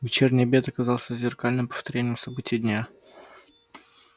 вечерний обед оказался зеркальным повторением событий дня